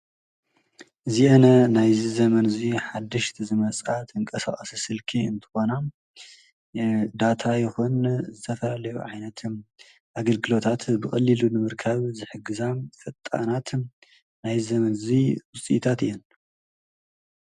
እዚአን ናይዚ ዘመን እዚ ሓደሽቲ ዝመፃ ተንቀሳቀስቲ ስልኪ እንትኾና ዳታ ይኩን ዝተፈላለዩ ዓይነት አገልግሎታት ብቀሊሉ ንምርካብ ዝሕግዛ ፈጣናት ናይዚ ዘመን እዚ ዉፅኢታት እየን ።